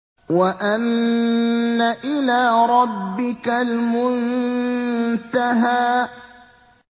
وَأَنَّ إِلَىٰ رَبِّكَ الْمُنتَهَىٰ